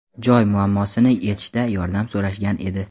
joy muammosini yechishda yordam so‘rashgan edi.